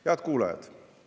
Head kuulajad!